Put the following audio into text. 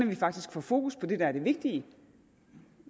man faktisk får fokus på det der er det vigtige